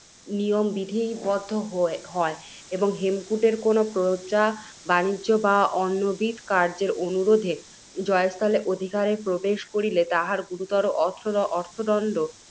নিয়ম বিধিবদ্ধ হয়, এবং হেমকূটের কোনও প্রজা, বাণিজ্য বা অন্যবিধ কার্য্যের অনুরোধে, জয়স্থলের অধিকারে প্রবেশ করিলে তাহার গুরুতর অর্থদণ্ড,